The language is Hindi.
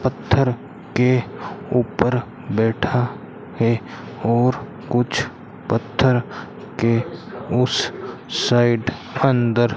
पत्थर के ऊपर बैठा है और कुछ पत्थर के उस साइड अंदर --